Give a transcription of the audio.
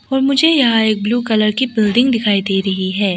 और मुझे यहां एक ब्लू कलर की बिल्डिंग दिखाई दे रही है।